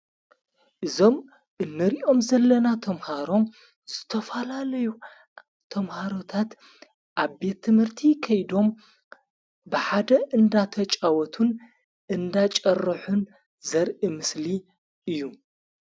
እዞም እነሪኦም ዘለና ቶምሃሮም ዝተፋላለዩ ቶምሃሮታት ኣብ ትምህርቲ ከይዶም ብሓደ እንዳተጫወቱን እንዳጨርሑን ዘርኢምስሊ እዩ።